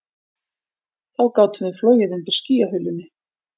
Þá gátum við flogið undir skýjahulunni